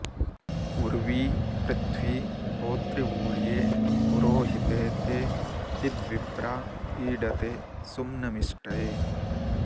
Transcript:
उ॒र्वी पृ॒थ्वी हो॑तृ॒वूर्ये॑ पु॒रोहि॑ते॒ ते इद्विप्रा॑ ईळते सु॒म्नमि॒ष्टये॑